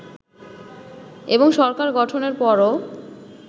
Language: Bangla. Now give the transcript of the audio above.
এবং সরকার গঠনের পরও